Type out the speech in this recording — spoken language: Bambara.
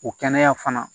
O kɛnɛya fana